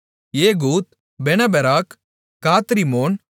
Jehud Bene Berak Gath Rimmon